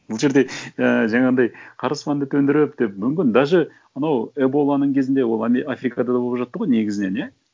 бұл жерде і жаңағындай қара аспанды төндіріп деп мүмкін даже мынау эболаның кезінде ол африкада да болып жатты ғой негізінен иә